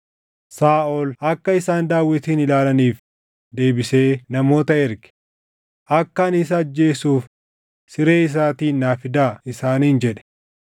Saaʼol akka isaan Daawitin ilaalaniif deebisee namoota ergee, “Akka ani isa ajjeesuuf siree isaatiin naa fidaa” isaaniin jedhe.